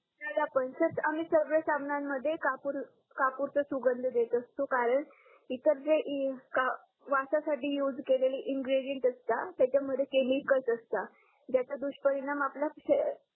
त्याला पण सर आम्ही सगड्या साबणामध्ये कपूरचा सुगंध देत असतो कारण इतर जे वासासाठी यूज केलेले इंग्रेग्रीनेंड असतात त्याच्या मध्ये केमिकल असतात ज्याच्या दुश परिणाम आपल्या